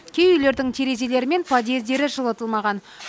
кей үйлердің терезелері мен подъездері жылытылмаған